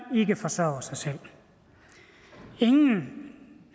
ikke forsørger sig selv ingen